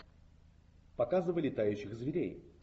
показывай летающих зверей